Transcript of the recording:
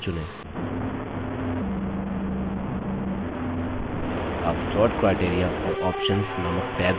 आप sort criteria और options नामक tabs dialog box में देखते हैं